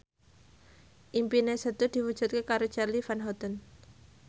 impine Setu diwujudke karo Charly Van Houten